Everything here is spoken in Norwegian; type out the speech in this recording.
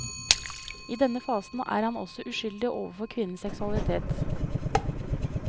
I denne fasen er han også uskyldig overfor kvinnens seksualitet.